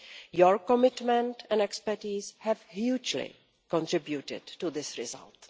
Your commitment and expertise have hugely contributed to this result.